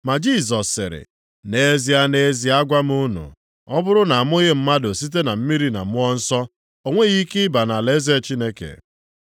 Ma Jisọs sịrị, “Nʼezie, nʼezie agwa m unu, ọ bụrụ na amụghị mmadụ site na mmiri na Mmụọ Nsọ, o nweghị ike ịba nʼalaeze Chineke.